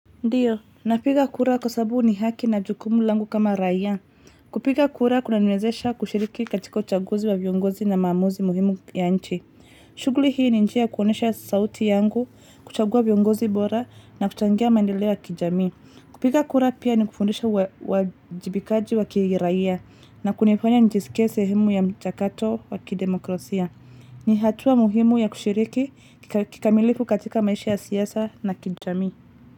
Ndiyo, napiga kura kwa sababu ni haki na jukumu langu kama raia. Kupiga kura kunaniwezesha kushiriki katika uchaguzi wa viongozi na maamuzi muhimu ya nchi. Shughuli hii ni njia ya kuonyesha sauti yangu, kuchagua viongozi bora na kuchangia mandeleo ya kijamii. Kupiga kura pia ni kufundisha uajibikaji wa kiraia na kunifanya nijiskie sehemu ya mchakato wa kidemokrasia. Ni hatua muhimu ya kushiriki kikamilifu katika maisha ya siasa na kijamii.